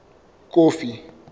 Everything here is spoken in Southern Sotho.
kofi